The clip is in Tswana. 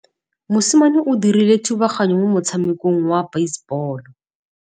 Mosimane o dirile thubaganyô mo motshamekong wa basebôlô.